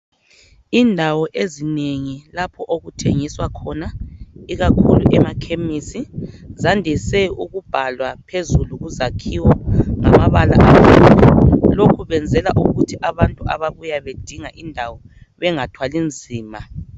Indawo ezinengi lapho okuthengiswa khona ikakhulu emakhemisi zandise ukubhalwa phezulu kuzakhiwo ngamabala amhlophe. Lokhu benzela ukuthi abantu ababuya bedinga indawo bengathwali nzima.